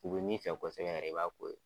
U bi min fɛ kɔsɛbɛ yɛrɛ i b'a k'o ye.